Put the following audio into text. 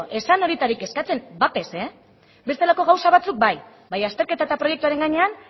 ez zen horietarik eskatze bat ere ez bestelako gauza batzuk bai baina azterketa eta proiektuaren gainean